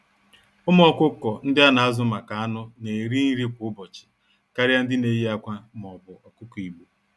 Ụmụ ọkụkọ ndị ana-azu-maka-anụ̀ n'eri nri kwá ụbọchị karịa ndị neyi ákwà m'obu ọkụkọ Igbo.